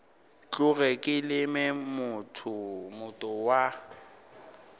tloge ke leme moota wa